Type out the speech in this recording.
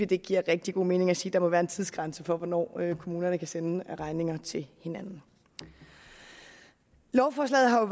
det giver rigtig god mening at sige at der må være en tidsgrænse for hvornår kommunerne kan sende regninger til hinanden lovforslaget har